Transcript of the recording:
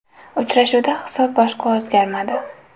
Uchrashuvda hisob boshqa o‘zgarmadi.